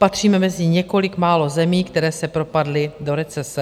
Patříme mezi několik málo zemí, které se propadly do recese.